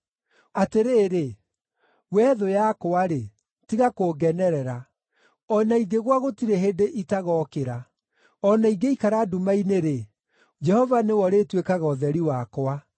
Atĩrĩrĩ, wee thũ yakwa-rĩ, tiga kũngenerera! O na ingĩgũa gũtirĩ hĩndĩ itagookĩra! O na ingĩikara nduma-inĩ-rĩ, Jehova nĩwe ũrĩtuĩkaga ũtheri wakwa.